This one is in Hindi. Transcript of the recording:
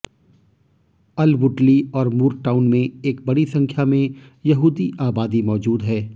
अलवुडली और मूरटाउन में एक बड़ी संख्या में यहूदी आबादी मौजूद है